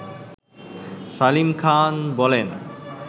সালিম খান বলেন